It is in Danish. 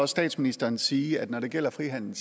statsministeren sige at når det gælder frihandel